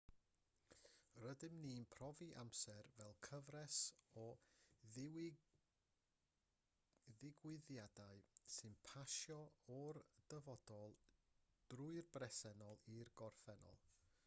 rydyn ni'n profi amser fel cyfres o ddigwyddiadau sy'n pasio o'r dyfodol drwy'r presennol i'r gorffennol